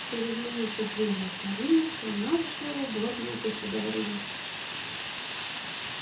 через минуту двери отворились и она вошла в уборную государыни